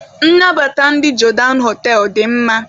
Nnabata ndị Jodan họtelụ dị mma.